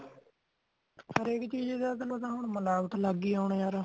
ਹਰ ਐਕ ਚੀਜ ਤਾ ਹੁਣ ਮਲਾਵਟ ਲੱਗਗੀ ਹੋਣ ਯਾਰ